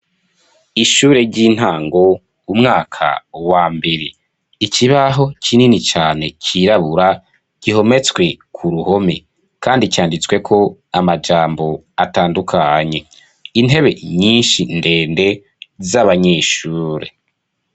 Ishure ry'intango umwaka wa mbere ikibaho kinini cane cirabura gihometswe ku ruhome kandi canditsweko amajambo atandukanye intebe nyinshi ndende z'abanyeshure.